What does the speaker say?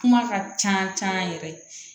Kuma ka ca caman yɛrɛ